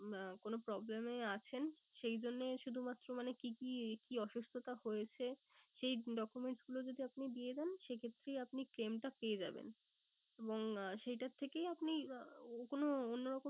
আহ কোনো problem এ আছেন সেই জন্যে শুধু মাত্র মানে কি কি কি অসুস্থতা হয়েছে সেই document গুলো যদি আপনি দিয়ে দেন সে ক্ষেত্রেই আপনি claim টা পেয়ে যাবেন। এবং আহ সেইটার থেকেই আপনি কোনো অন্য রকম